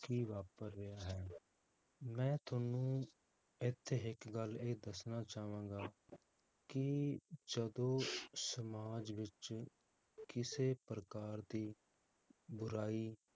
ਕੀ ਵਾਪਰ ਰਿਹਾ ਹੈ ਮੈ ਤੁਹਾਨੂੰ ਇਥੇ ਇਕ ਗੱਲ ਇਹ ਦੱਸਣਾ ਚਾਵਾਂਗਾ ਕਿ ਜਦੋ ਸਮਾਜ ਵਿਚ ਕਿਸੇ ਪ੍ਰਕਾਰ ਦੀ ਬੁਰਾਈ